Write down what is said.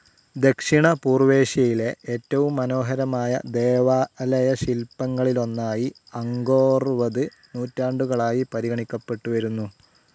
ദക്ഷിണപൂർവ്വേഷ്യയിലെ ഏറ്റവും മനോഹരമായ ദേവാലയശിൽപ്പങ്ങളിലൊന്നായി അംഗോർവത് നൂറ്റാണ്ടുകളായി പരിഗണിക്കപ്പെട്ടുവരുന്നു.